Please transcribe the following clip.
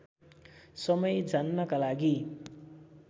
समय जान्नका लागि